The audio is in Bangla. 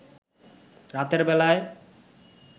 রাতের বেলায়